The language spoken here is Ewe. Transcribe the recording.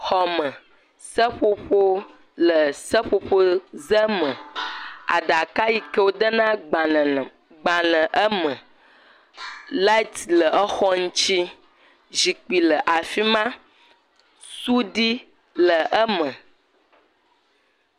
Xɔme. Seƒoƒo le seƒoƒoze me. Aɖaka yike wodena agbale le gbale eme. Lati le exɔ ŋutsi. Zikpui le afi ma. Suɖi le eme